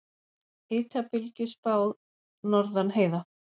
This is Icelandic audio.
Hitabylgju spáð norðan heiða